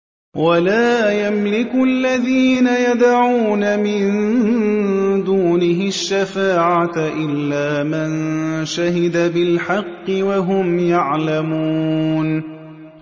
وَلَا يَمْلِكُ الَّذِينَ يَدْعُونَ مِن دُونِهِ الشَّفَاعَةَ إِلَّا مَن شَهِدَ بِالْحَقِّ وَهُمْ يَعْلَمُونَ